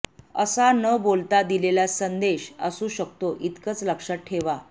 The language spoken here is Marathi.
असा न बोलता दिलेला संदेश असू शकतो इतकंच लक्षात ठेवा